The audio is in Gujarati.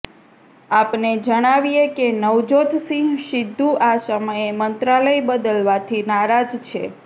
આપને જણાવીએ કે નવજોત સિંહ સિદ્ધુ આ સમયે મંત્રાલય બદલવાથી નારાજ છે